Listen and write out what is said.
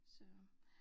Så